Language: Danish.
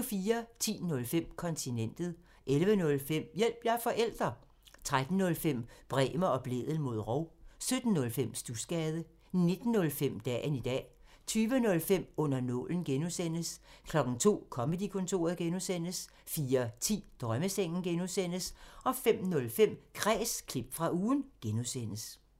10:05: Kontinentet 11:05: Hjælp – jeg er forælder! 13:05: Bremer og Blædel mod rov 17:05: Studsgade 19:05: Dagen i dag 20:05: Under nålen (G) 02:00: Comedy-kontoret (G) 04:10: Drømmesengen (G) 05:05: Kræs – klip fra ugen (G)